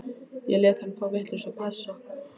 Ég lét hann fá vitlausan passa.